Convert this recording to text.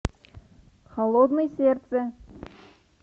холодное сердце